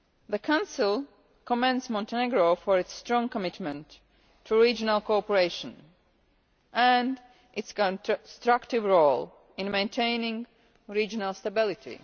The Council commends Montenegro for its strong commitment to regional cooperation and its constructive role in maintaining regional stability.